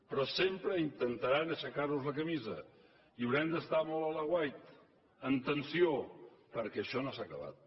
però sempre intentaran aixecar nos la camisa i haurem d’estar molt a l’aguait en tensió perquè això no s’ha acabat